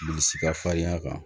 Bilisi ka farinya kan